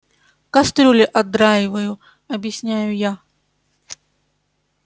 кастрюли отдраиваю объясняю я